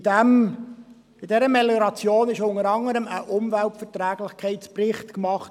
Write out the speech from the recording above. In dieser Melioration wurde unter anderem ein Umweltverträglichkeitsbericht gemacht.